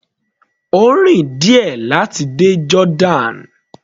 Ó rìn díẹ̀ láti dé Jordan.